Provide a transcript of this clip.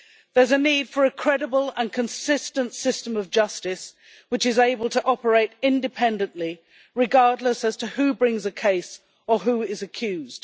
There is a need for a credible and consistent system of justice, which is able to operate independently, regardless of who brings a case or who is accused.